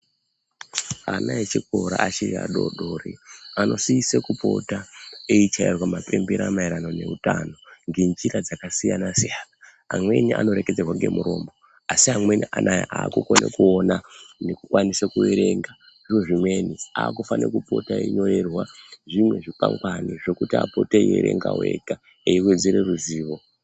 Ana echikora achiri adoodori anosise kupota eichairwa mabembera maererano utano ngenjira dzakasiyana siyana. Mweni anoreketerwa ngemuromo. Asi amweni anaa akukone kuona nekukwanisa kuerenga nezvimweni akufanirwe kupota einyorerwa zvimwe zvikwangwari zvekuti vapotewo veiverenga vega, eiwedzere ruzivo.